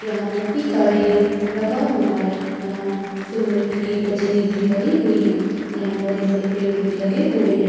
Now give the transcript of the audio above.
यहाँ मिट्टी का ढेर लगा हुवा है। यहाँ सीमेन्ट की बजरी भी पड़ी हुवी है। यहाँ बड़े बड़े पेड़ भी लगे हुवे है।